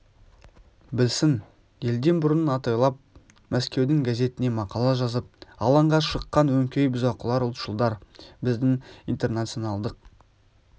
білсін елден бұрын атойлап мәскеудің газетіне мақала жазып алаңға шыққан өңкей бұзақылар ұлтшылдар біздің интернационалдық